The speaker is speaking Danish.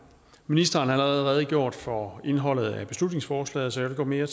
ministeren har allerede redegjort for indholdet af beslutningsforslaget så jeg vil gå mere